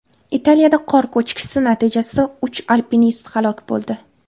Italiyada qor ko‘chkisi natijasida uch alpinist halok bo‘ldi.